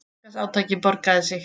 Markaðsátakið borgaði sig